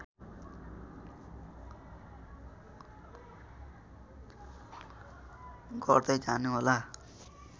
गर्दै जानुहोला